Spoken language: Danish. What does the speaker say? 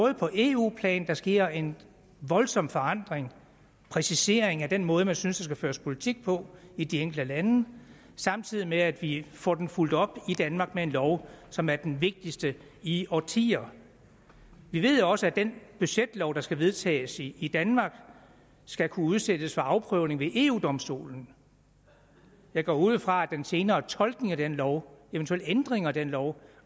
eu plan der sker en voldsom forandring præcisering af den måde man synes der skal føres politik på i de enkelte lande samtidig med at vi får den fulgt op i danmark med en lov som er den vigtigste i årtier vi ved også at den budgetlov der skal vedtages i i danmark skal kunne udsættes for afprøvning ved eu domstolen jeg går ud fra at den senere tolkning af denne lov eventuelle ændringer af denne lov